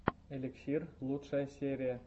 эликсир лучшая серия